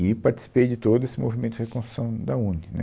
E participei de todo esse movimento de reconstrução da UNE, né.